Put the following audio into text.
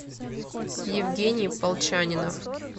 евгений полчанинов